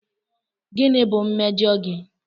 Gịnị bụ mmejọ gị?